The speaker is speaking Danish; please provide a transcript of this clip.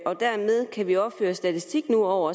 og dermed kan vi nu også føre statistik over